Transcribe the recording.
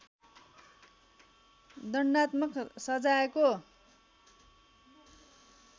दण्डात्मक सजायको